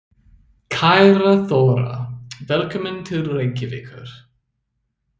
Kæra Þóra. Velkomin til Reykjavíkur.